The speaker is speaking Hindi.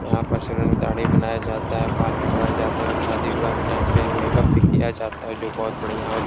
यहाँ पर सैलून में दाढ़ी भी बनाया जाता है बाल कटवाएँ जाते हैं और शादी विवाह के टाइम पे मेक-अप भी किया जाता है जो बहोत बढ़िया हो --